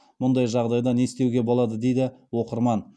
мұндай жағдайда не істеуге болады дейді оқырман